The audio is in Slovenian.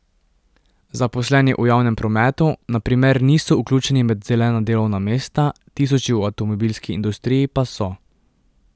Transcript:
Zaposleni v javnem prometu na primer niso vključeni med zelena delovna mesta, tisoči v avtomobilski industriji pa so.